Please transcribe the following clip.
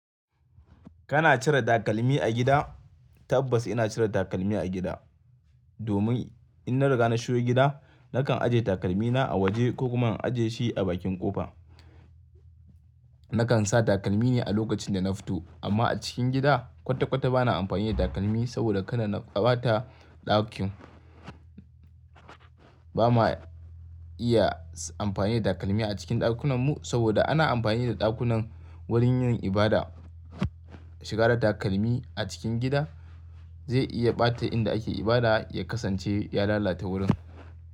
Kana cire takalmi a gida? Tabbas ina cire takalmi a gida. Domin in na riga na shigo gida nakan ajiye takalmina a waje ko kuma in ajiye shi a bakin kofa. Nakan sa takalmi ne a lokacin da na fito amma a cikin gida kwata-kwata bana amfani da takalmi saboda kada na ɓata ɗakin. Ba ma iya amfani da takalmi a cikin ɗakunan mu saboda ana amfani da ɗakunan wurin yin ibada. Shiga da takalmi a cikin gida zai iya ɓata inda ake ibada ya kasance ya lalata wurin.